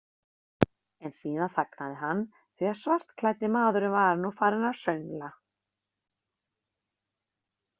En síðan þagnaði hann, því að svartklæddi maðurinn var nú farinn að söngla.